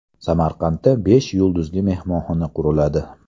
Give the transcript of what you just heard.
Samarqandda besh yulduzli mehmonxona quriladi.